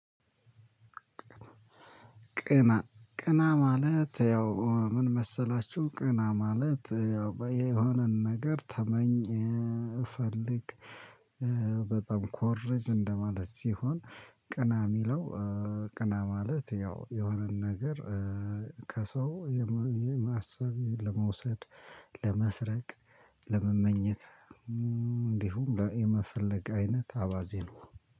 ቅና ቅና ማለት ያው ምን? መሰላችሁ ቅና ማለት ያው የሆነን ነገር ተመኝ ፈልግ በጣም ኮርጅ እንደማለት ሲሆን። ቅና ሚለው። ቅና ማለት ያው የሆነን ነገር ከሰው የማሰብ ለመውሰድ ለመስረቅ ለመመኘት እንዲሁም የመፈለግ አይነት አባዜ ነው።